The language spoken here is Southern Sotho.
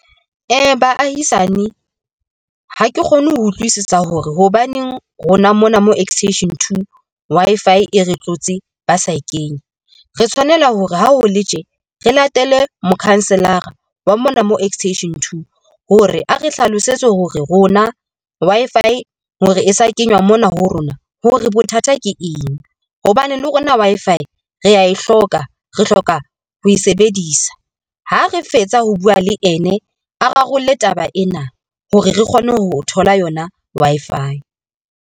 Baahisane ha ke kgone ho utlwisisa hore hobaneng rona mona mo Extension Two Wi-Fi e re tlotse ba sa e kenye. Re tshwanela hore ha o le tje re latele mokhanselara wa mona mo Extension Two hore a re hlalosetse hore rona Wi-Fi hore e sa kenywa mona ho rona hore bothata ke eng hobane le hore na Wi-Fi rea e hloka. Re hloka ho e sebedisa ha re fetsa ho bua, le ene a rarolle taba ena hore re kgone ho thola yona Wi-Fi.